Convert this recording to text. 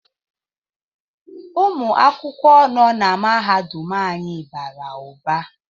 Ụmụ akwụkwọ nọ na mahadum anyị bara ụba